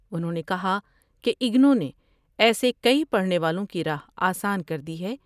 انھوں نے کہا کہ اگنو نے ایسے کئی پڑھنے والوں کی راہ آسان کر دی ہے ۔